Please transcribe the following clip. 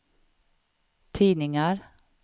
tidningar